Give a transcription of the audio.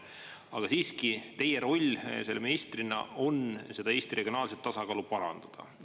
Aga siiski teie roll selle ministrina on seda Eesti regionaalset tasakaalu parandada.